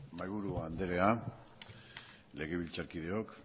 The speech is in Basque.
mahaiburu andrea legebiltzarkideok